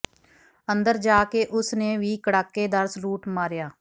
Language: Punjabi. ਅੰਦਰ ਜਾ ਕੇ ਉਸ ਨੇ ਵੀ ਕੜਾਕੇਦਾਰ ਸਲੂਟ ਮਾਰਿਆ